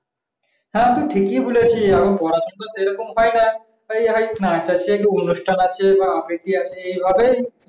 হ্যাঁ তো ঠিকই বলেছিস এখন তো পড়াশোনা সেরকম হয়না। এই হয় নাচ আছে কি অনুষ্ঠান আছে বা আবৃতি আছে এভাবেই